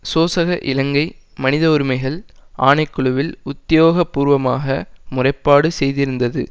சோசக இலங்கை மனித உரிமைகள் ஆணை குழுவில் உத்தியோகபூர்வமாக முறைப்பாடு செய்திருந்தது